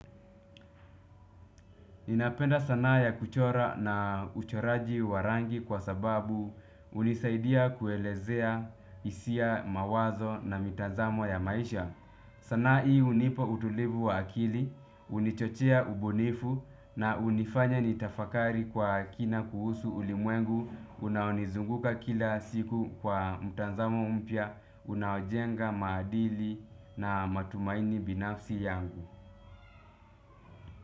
Ninapenda sanaa ya kuchora na uchoraji wa rangi kwa sababu hunisaidia kuelezea hisia mawazo na mitazamo ya maisha. Sanaa hii hunipo utulivu wa akili, hunichochea ubunifu na hunifanya nitafakari kwa kina kuhusu ulimwengu. Unaonizunguka kila siku kwa mtazamo mpya, unaojenga maadili na matumaini binafsi yangu.